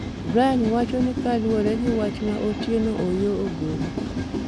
Brian wacho ni kaluore gi wach ma Otieno Oyoo ogolo